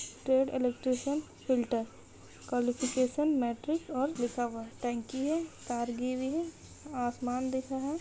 Trade electrician filter qualification matric और लिखा हुआ है टंकी है तार गयी हुई है आसमान दिख रहा है।